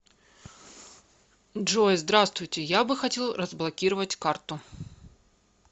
джой здравствуйте я бы хотел разблокировать карту